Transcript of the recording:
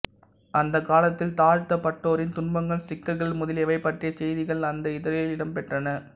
அந்தக் காலத்தில் தாழ்த்தப்பட்டோரின் துன்பங்கள் சிக்கல்கள் முதலியவை பற்றிய செய்திகள் அந்த இதழில் இடம் பெற்றன